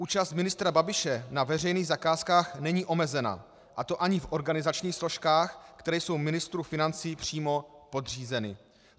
Účast ministra Babiše na veřejných zakázkách není omezena, a to ani v organizačních složkách, které jsou ministru financí přímo podřízeny.